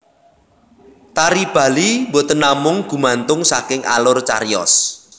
Tari Bali boten namung gumantung saking alur cariyos